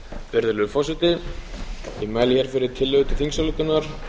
virðulegur forseti ég mæli hér fyrir tillögu til þingsályktunar